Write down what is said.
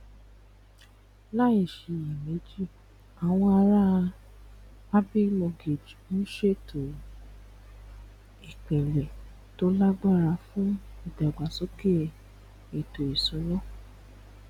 láìṣiyèméjì àwọn aráa abbey mortgage ń ṣètò ìpìlẹ to lágbára fún ìdàgbàsókè ètò ìṣúná